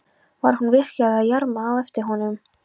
Var hún virkilega að jarma á eftir honum?